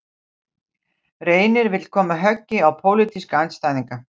Reynir vill koma höggi á pólitíska andstæðinga